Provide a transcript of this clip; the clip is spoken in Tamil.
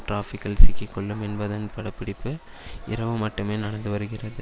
டிராபிக்கில் சிக்கி கொள்ளும் என்பதன் படப்பிடிப்பு இரவு மட்டுமே நடந்து வருகிறது